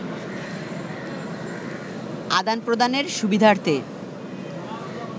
আদান-প্রদানের সুবিধার্থে